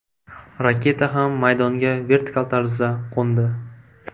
Raketa ham maydonga vertikal tarzda qo‘ndi.